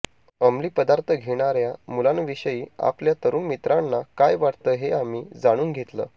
अमली पदार्थ घेणाऱ्या मुलांविषयी आपल्या तरुण मित्रांना काय वाटतं हे आम्ही जाणून घेतलं